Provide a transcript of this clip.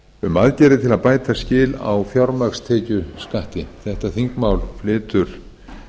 um aðgerðir til bæta skil á fjármagnstekjuskatti þetta þingmál flytur